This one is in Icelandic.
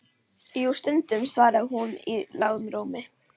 Jú, stundum, svaraði hún í lágum rómi.